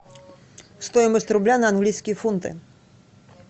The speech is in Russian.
стоимость рубля на английские фунты